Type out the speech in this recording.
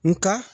Nka